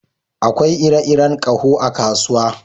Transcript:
Akwai ire-iren ƙaho a kasuwa